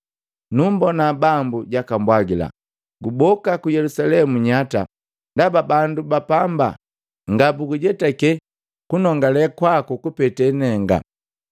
Numbona Bambu jaka mbwagila, ‘Guboka ku Yelusalemu nyata ndaba bandu ba pamba ngabugujetake kunongale kwaku kupete nenga.’